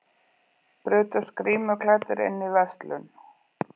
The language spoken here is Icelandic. Brutust grímuklæddir inn í verslun